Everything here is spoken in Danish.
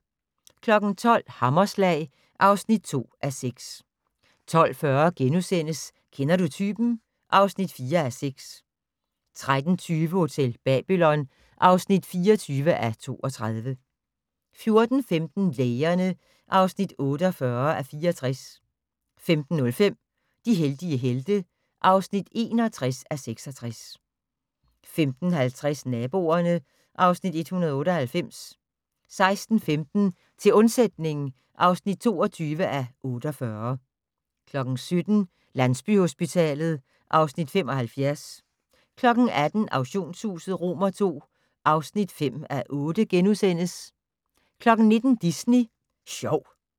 12:00: Hammerslag (2:6) 12:40: Kender du typen? (4:6)* 13:20: Hotel Babylon (24:32) 14:15: Lægerne (48:64) 15:05: De heldige helte (61:66) 15:50: Naboerne (Afs. 198) 16:15: Til undsætning (22:48) 17:00: Landsbyhospitalet (Afs. 75) 18:00: Auktionshuset II (5:8)* 19:00: Disney Sjov